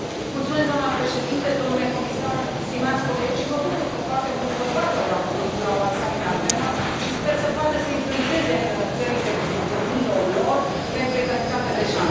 Doamnă președintă, domnule comisar, stimați colegi, mă bucur că foarte mulți bărbați au luat cuvântul la o asemenea temă și sper să poată să influențeze în țările domniilor lor egalitatea de șanse.